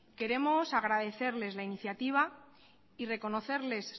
queremos agradecerles la iniciativa y reconocerles